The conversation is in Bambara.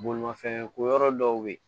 Bolimafɛn ko yɔrɔ dɔw bɛ yen